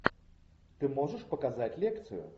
ты можешь показать лекцию